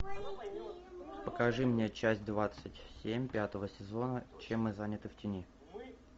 покажи мне часть двадцать семь пятого сезона чем мы заняты в тени